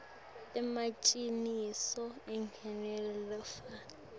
emaciniso njengemuntfu lofako